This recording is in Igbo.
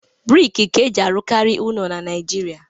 Briki ka e ji arụkarị ụlọ na naịjirịa.